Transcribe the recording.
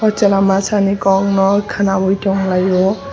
chwla masa nai kok no khwanaioi tong laio.